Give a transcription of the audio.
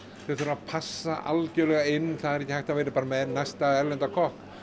þeir þurfa að passa algjörlega inn það er ekki hægt að vera bara með næsta erlenda kokk